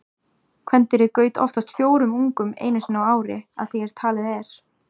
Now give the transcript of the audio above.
Kvendýrið gaut oftast fjórum ungum einu sinni á ári að því er talið er.